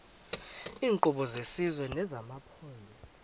iinkqubo zesizwe nezamaphondo